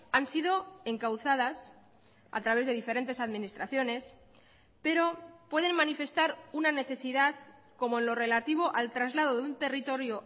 han sido encauzadas a través de diferentes administraciones pero pueden manifestar una necesidad como en lo relativo al traslado de un territorio